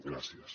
gràcies